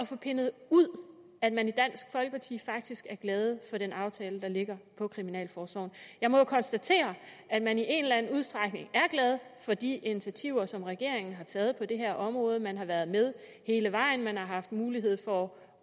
få pindet ud at man i dansk folkeparti faktisk er glade for den aftale der ligger for kriminalforsorgen jeg må jo konstatere at man i en eller anden udstrækning er glade for de initiativer som regeringen har taget på det her område man har været med hele vejen man har haft mulighed for